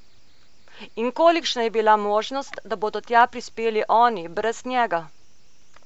In kolikšna je bila možnost, da bodo tja prispeli oni, brez njega?